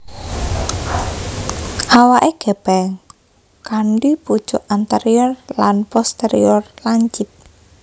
Awaké gèpèng kanthi pucuk anterior lan posterior lancip